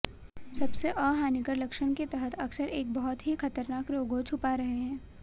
सबसे अहानिकर लक्षण के तहत अक्सर एक बहुत ही खतरनाक रोगों छुपा रहे हैं